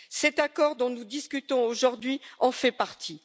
Cet accord dont nous discutons aujourd'hui en fait partie.